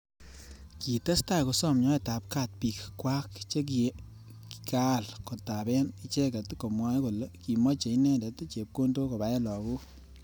Kitestai kosom nyoetab kaat bik kwak che ki kaal kotaben icheket komwae kole kimache inendet chepkondok kobae lagok